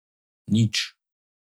Nič.